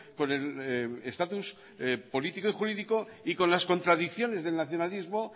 con el estatus político y jurídico y con las contradicciones del nacionalismo